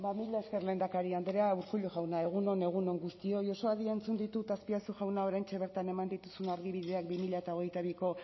mila esker lehendakari andrea urkullu jauna egun on egun on guztioi oso adi entzun ditut azpiazu jauna oraintxe bertan eman dituzun argibideak bi mila hogeita biko